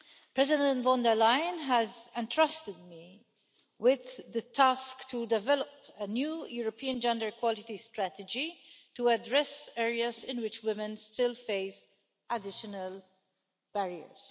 President von der Leyen has entrusted me with the task to develop a new European gender equality strategy to address areas in which women still face additional barriers.